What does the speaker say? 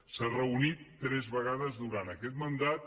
s’ha reunit tres vegades durant aquest mandat